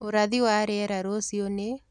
ũrathi wa rĩera rũcĩũ nĩ